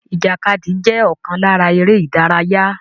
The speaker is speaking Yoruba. Ìjàkadì jẹ́ ọ̀kan lára eré ìdárayá